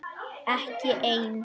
Ekki ein?